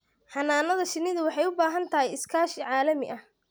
Xannaanada shinnidu waxay u baahan tahay iskaashi caalami ah.